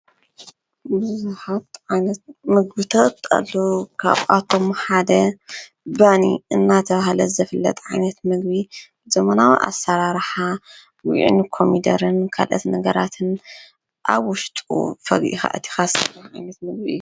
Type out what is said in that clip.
ብዙሓት ዓይነት ምግብታት ኣለው። ካብኣቶም ሓደ ባኒ እንዳተባሀለ ዝፍለጥ ዓይነት ምግቢ ዘመናዊ ኣሰራርሓ ጉዒን ኮሚደረን ካልኦት ነገራትን ኣብ ውሽጡ ፈጊእኻ ኣእቲኻ ዝብላዕ ምግቢ እዩ።